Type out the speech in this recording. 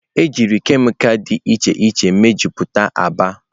Ejiri kemịkalụ dị iche iche mejupụtara agba.